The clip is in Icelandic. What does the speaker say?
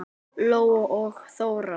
Lóa og Þóra.